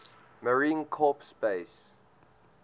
marine corps base